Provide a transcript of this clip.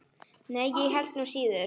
Nei, ég held nú síður.